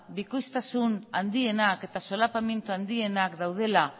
bikoiztasuna handienak eta solapamendu handienak daudela